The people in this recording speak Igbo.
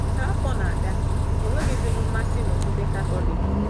Ka afọ na-aga, enweghịzi m mmasị n’Okpukpe Katọlik.